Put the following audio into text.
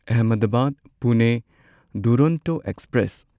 Ahmedabad Pune Duronto express